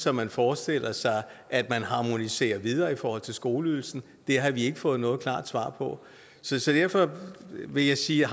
at man forestiller sig at man harmoniserer videre i forhold til skoleydelsen det har vi ikke fået noget klart svar på så så derfor vil jeg sige at